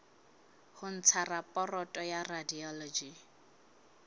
ho ntsha raporoto ya radiology